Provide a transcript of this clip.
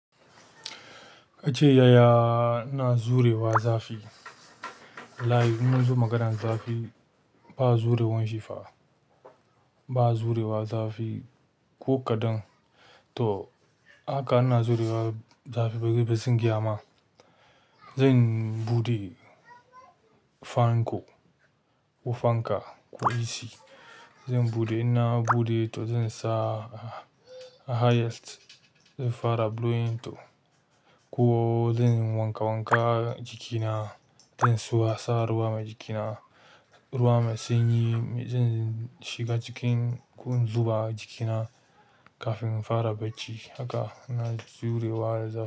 Kace yaya ina jurewa zafi? Live munzo maganar zafi ba jurewan shi fa. Ba jurewa zafi ko kaɗan. To haka ina jurewa zafi ba gida ba gaskiya zan faɗa ma. Zai buɗe fanko ko fanka, ku Ac. Zai buɗe, ina buɗe to zan sa a highest. Zan fara blowing to. Ko zan wanka wanka jikina, zan watsa ruwa ma jikina. Ruwa mai sanyi, zan shiga cikin ko in zuɓa jikina kafin in fara bacci. Haka na surewa zafi.